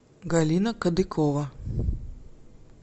галина кадыкова